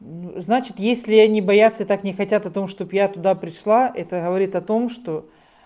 ну значит если они бояться и так не хотят о том чтобы я туда пришла это говорит о том что